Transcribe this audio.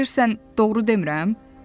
sən elə bilirsən doğru demirəm?